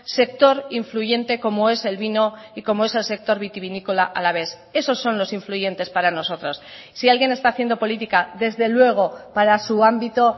sector influyente como es el vino y como es el sector vitivinícola alavés esos son los influyentes para nosotros si alguien está haciendo política desde luego para su ámbito